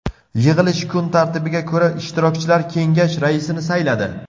Yig‘ilish kun tartibiga ko‘ra, ishtirokchilar kengash raisini sayladi.